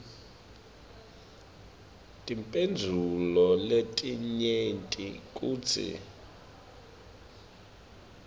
timphendvulo letinyenti kutsi